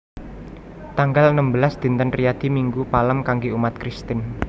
Tanggal enem belas Dinten Riyadi Minggu Palem kanggé umat Kristen